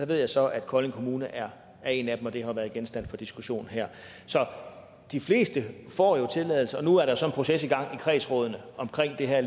ved så at kolding kommune er er en af dem og det har jo været genstand for diskussioner her så de fleste får tilladelse og lige nu er der så en proces i gang i kredsrådene omkring det her